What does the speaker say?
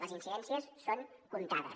les incidències són comptades